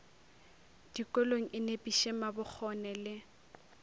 dikolong e nepiše mabokgone le